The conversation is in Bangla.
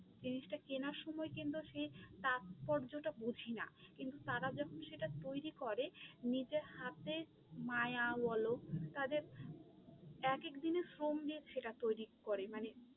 জিনিসটা কেনার সময় কিন্তু সেই তাৎপর্যতা বুঝি না, কিন্তু তারা যখন সেটা তৈরী করে নিজে হাতে মায়া বলো, তাদের এক এক দিনের শ্রম দিয়ে সেটা তৈরী করে মানে